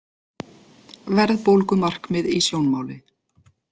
Verðbólgumarkmið í sjónmáli